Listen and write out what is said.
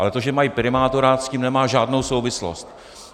Ale to, že mají primátora, s tím nemá žádnou souvislost.